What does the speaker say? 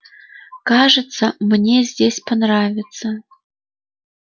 кажется мне здесь понравится